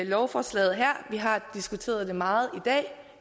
lovforslaget her vi har diskuteret det meget i dag